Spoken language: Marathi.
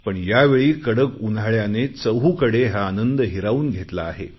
पण यावेळी कडक उन्हाळ्याने चहूकडे हा आनंद हिरावून घेतला आहे